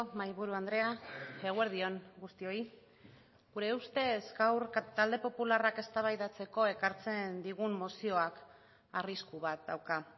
mahaiburu andrea eguerdi on guztioi gure ustez gaur talde popularrak eztabaidatzeko ekartzen digun mozioak arrisku bat dauka